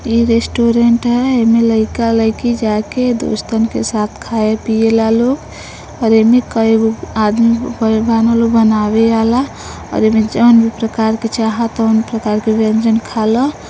ये रेस्टोरेंट है। इमे लैका-लइका जाके दोस्तन के साथ खाये-पिए ला लोग और इमे ककई गो आदमी बा बाड़न लोग बानवे बाला और इमे जॉन प्रकार के चाहा तौन प्रकार के व्यंजन खाला।